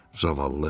Zavallı.